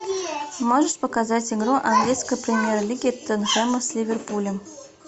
можешь показать игру английской премьер лиги тоттенхэма с ливерпулем